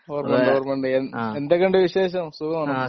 ഓർമ്മയുണ്ട് ഓർമ്മയുണ്ട് എന്തൊക്കെയുണ്ട് വിശേഷം? സുഖമാണോ?